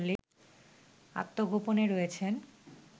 আত্মগোপনে রয়েছেন